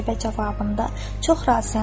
Qətibə cavabında: “Çox razıyam.